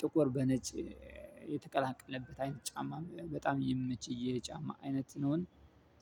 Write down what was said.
ጥቁር በነጭ የተቀላቀለበት አይነት ጫማ በጣም የሚመቸኝ የጫማ አይነት ነውን።